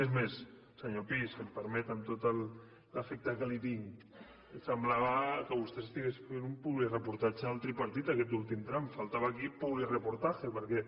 és més senyor pi si em permet amb tot l’afecte que li tinc semblava que vostè estigués fent un publireportatge al tripartit aquest últim tram faltava aquí publireportaje perquè